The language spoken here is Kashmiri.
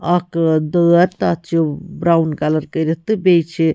. کٔرِتھ تہٕ بیٚیہِ چھ کلر اکھ دٲر تہٕ اَتھ چھ برٛوُن